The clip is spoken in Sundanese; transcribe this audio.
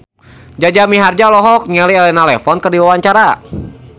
Jaja Mihardja olohok ningali Elena Levon keur diwawancara